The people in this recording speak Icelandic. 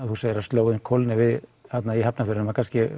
þú segir að slóðin kólni þarna í Hafnarfirðinum